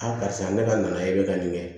Aa karisa ne ka na e bɛ ka nin kɛ